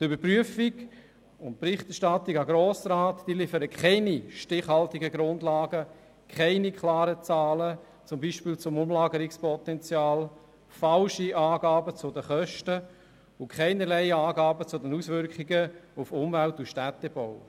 – Die Überprüfung und Berichterstattung an den Grossen Rat liefert keine stichhaltigen Grundlagen, keine klaren Zahlen, zum Beispiel zum Umlagerungspotenzial, sondern falsche Angaben zu den Kosten und keinerlei Angaben zu den Auswirkungen auf Umwelt und Städtebau.